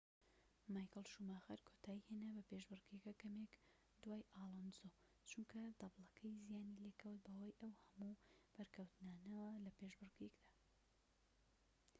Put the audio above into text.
مایکل شوماخەر کۆتایی هێنا بە پێشبڕکێکە کەمێك دوای ئالۆنزۆ چونکە دەبڵەکەی زیانی لێکەوت بەهۆی ئەو هەموو بەرکەوتنانەوە لە پێشبڕکێکەدا